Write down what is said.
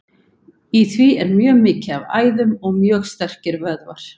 Í því er mjög mikið af æðum og mjög sterkir vöðvar.